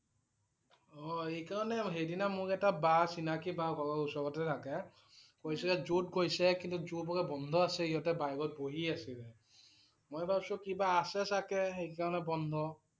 অ' এইকাৰণে সেইদিনা মোক এটা বা চিনাকি বা ঘৰৰ ওচৰতে থাকে । কৈছে যে zoo ত গৈছে, কিন্তু zoo বোলে বন্ধ আছে সিহঁতে বাহিৰত বহি আছিলে। মই ভাবিছোঁ কিবা আছে চাগে সেইকাৰণে বন্ধ